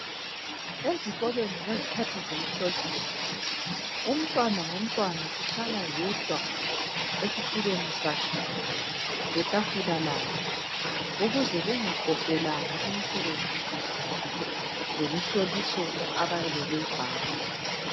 Ezikolweni ngezikhathi zemihloliso umntwana ngo mntwana uhlala yedwa esitulweni sakhe letafula lakhe ukuze bengakopelani imisebenzi lemihloliso abayabe beyibhala.